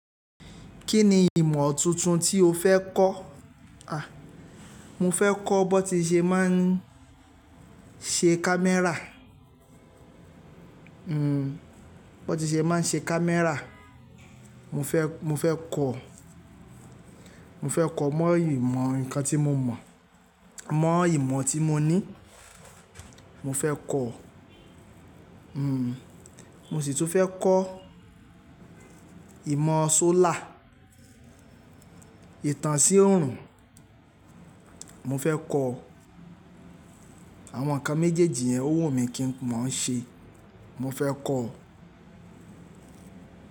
Kí ni ìmọ̀ tuntun tí o fẹ́ kọ́? Mo fẹ́ kọ́ bón ti ṣe máa ń ṣe Camera. Bón ti ṣe máa ń ṣe Camera. Mo fẹ́, mo fẹ́ kọ̀. Mo fẹ́ ko mọ́ ìmọ̀ nǹkan tí mo mọ̀, mọ́ ìmọ̀ tí mo ní. Mo fẹ́ kọ̀. Mo sì tún fẹ́ kọ́ ìmọ̀ solar, ìtàn sí òòrùn. Mo fẹ́ kọ̀. Àwọn nǹkan méjèèjì yẹn ó wù mí kí ń mo ń ṣe. Mo fẹ́ kọ̀.